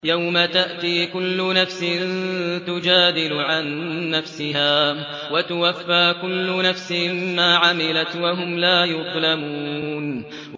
۞ يَوْمَ تَأْتِي كُلُّ نَفْسٍ تُجَادِلُ عَن نَّفْسِهَا وَتُوَفَّىٰ كُلُّ نَفْسٍ مَّا عَمِلَتْ وَهُمْ لَا يُظْلَمُونَ